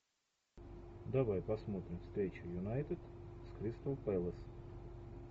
давай посмотрим встречу юнайтед с кристал пэлас